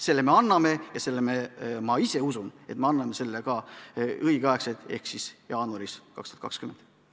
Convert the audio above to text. Selle me anname ja ma usun, et me anname selle ka õigeks ajaks ehk siis enne jaanuari 2020.